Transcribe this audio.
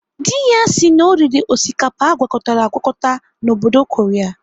Dị ya sị na ọ riri osikapa agwakọtara agwakọta n'obodo Korea.